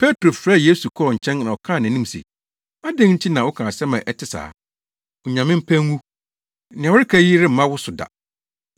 Petro frɛɛ Yesu kɔɔ nkyɛn na ɔkaa nʼanim se, “Adɛn nti na woka asɛm a ɛte saa! Onyame mpa ngu! Nea woreka yi remma wo so da!”